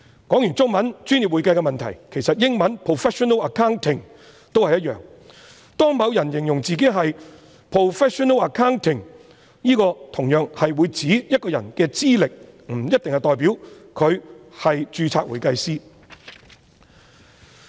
說畢中文"專業會計"的問題，其實英文 "professional accounting" 也一樣，當某人形容自己是 professional accounting， 同樣是指一個人的資歷，不一定代表他是專業會計師。